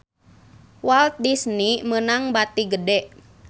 Walt Disney meunang bati gede